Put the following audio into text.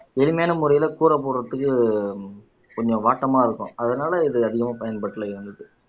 எளிமையான முறையில கூரை போடுறதுக்கு கொஞ்சம் வாட்டமா இருக்கும் அதனால இது அதிகமா பயன்பாட்டுல இருந்துது